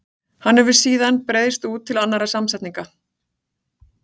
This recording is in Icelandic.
Hann hefur síðan breiðst út til annarra samsetninga.